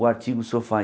O artigo sofá.